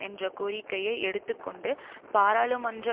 என்ற கோரிக்கையை எடுத்து கொண்டு பாராளுமன்ற